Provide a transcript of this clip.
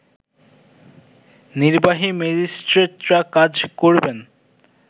নির্বাহী ম্যাজিস্ট্রেটরা কাজ করবেন